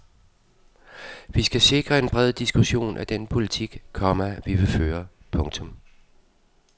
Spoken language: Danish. Vi skal sikre en bred diskussion af den politik, komma vi vil føre. punktum